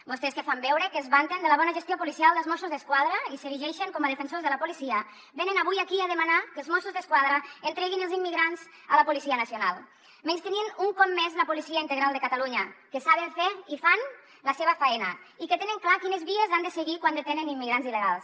vostès que fan veure que es vanten de la bona gestió policial dels mossos d’esquadra i s’erigeixen com a defensors de la policia venen avui aquí a demanar que els mossos d’esquadra entreguin els immigrants a la policia nacional menystenint un cop més la policia integral de catalunya que saben fer i fan la seva faena i que tenen clar quines vies han de seguir quan detenen immigrants il·legals